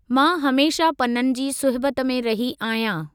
मां हमेशा पननि जी सुहिबत में रही आहियां।